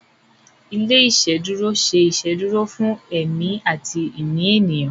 ilé iṣeduro se iṣeduro fún èmi àti ìní ènìyàn.